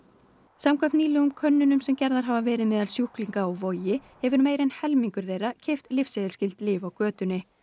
samkvæmt nýlegum könnunum sem gerðar hafa verið meðal sjúklinga á Vogi hefur meira en helmingur þeirra keypt lyfseðilsskyld lyf á götunni